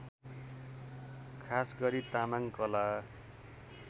खासगरी तामाङ कला